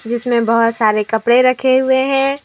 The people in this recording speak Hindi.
इसमें बहोत सारे कपड़े रखे हुए हैं।